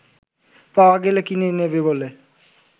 পাওয়া গেলে কিনে নেবে বলে